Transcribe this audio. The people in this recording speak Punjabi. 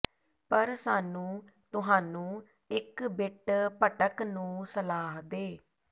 ਪਰ ਸਾਨੂੰ ਤੁਹਾਨੂੰ ਇੱਕ ਬਿੱਟ ਭਟਕ ਨੂੰ ਸਲਾਹ ਦੇ